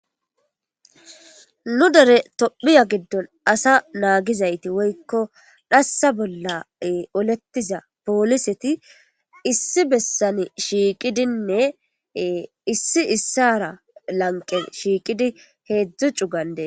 Nu dere tophiya giddon asa naagizayti woykko dhassa bolla olettiza pooliseti issi bessane shiiqidinne issi issara lanqe shiiqidi heedzdzu cu gandee.